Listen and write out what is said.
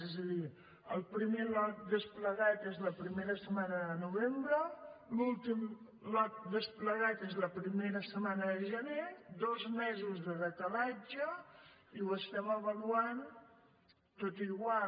és a dir el primer lot desplegat és la primera setmana de novembre l’últim lot desplegat és la primera setmana de gener dos mesos de decalatge i ho estem avaluant tot igual